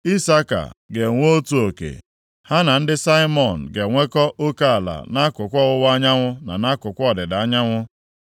Isaka ga-enwe otu oke; ha na ndị Simiọn ga-enwekọ oke ala nʼakụkụ ọwụwa anyanwụ, na nʼakụkụ ọdịda anyanwụ.